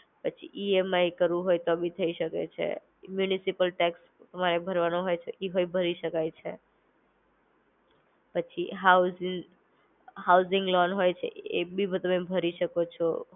પછી ઈએમઆઈ કરવું હોય તો બી થઇ શકે છે, મ્યુનિસિપલ ટેક્સ તમારે ભરવાનો હોય છે, ઈ પણ ભરી શકાય છે. પછી હોઉસીસ હોઉઝિંગ લોન હોય છે એ બી તમે ભરી શકો છો.